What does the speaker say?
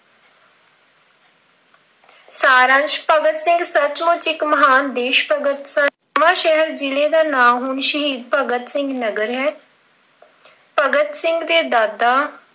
ਸਾਰਦਾਰ ਭਗਤ ਸਿੰਘ ਸੱਚਮੁੱਚ ਇੱਕ ਦੇਸ਼ ਭਗਤ ਸਨ। ਅਮ ਨਵਾਂ ਸ਼ਹਿਰ ਜ਼ਿਲ੍ਹੇ ਦਾ ਨਾਮ ਹੁਣ ਸ਼ਹੀਦ ਭਗਤ ਸਿੰਘ ਨਗਰ ਹੈ। ਭਗਤ ਸਿੰਘ ਦੇ ਦਾਦਾ